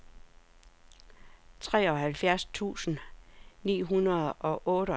treoghalvfjerds tusind ni hundrede og otteogtres